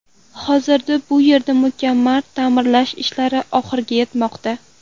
Hozirda bu yerda mukammal ta’mirlash ishlari oxiriga yetmoqda.